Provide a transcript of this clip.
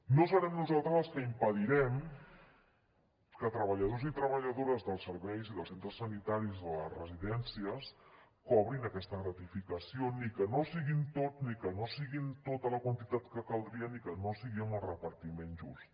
no serem nosaltres els que impedirem que treballadors i treballadores dels serveis i dels centres sanitaris i de les residències cobrin aquesta gratificació ni que no siguin tots ni que no sigui tota la quantitat que caldria ni que no sigui amb el repartiment just